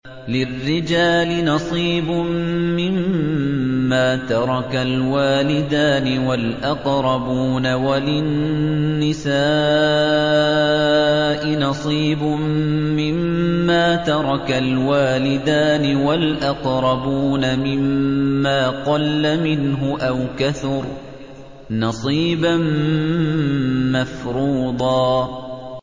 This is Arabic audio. لِّلرِّجَالِ نَصِيبٌ مِّمَّا تَرَكَ الْوَالِدَانِ وَالْأَقْرَبُونَ وَلِلنِّسَاءِ نَصِيبٌ مِّمَّا تَرَكَ الْوَالِدَانِ وَالْأَقْرَبُونَ مِمَّا قَلَّ مِنْهُ أَوْ كَثُرَ ۚ نَصِيبًا مَّفْرُوضًا